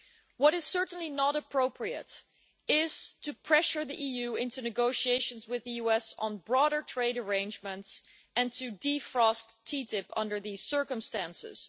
What is certainly not appropriate is to pressure the EU into negotiations with the US on broader trade arrangements and to defrost TTIP under these circumstances.